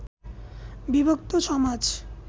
বিভক্ত সমাজ